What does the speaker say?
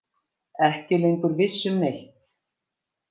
Ekki lengur viss um neitt.